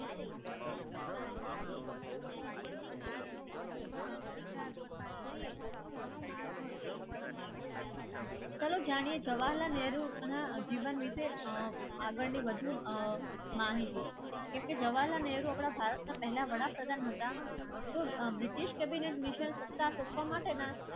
ચલો જાણીએ જવાલાલ નેહરુ જીવન વિશે આગળની વધુ માહિતી કેમકે જવાલાલ નેહરુ આપણા ભારતના પહેલા વડાપ્રધાન હતા.